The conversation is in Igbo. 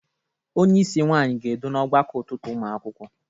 Onyeisi nwaanyị ga-edu n'ọgbakọ ụtụtụ ụmụ akwụkwọ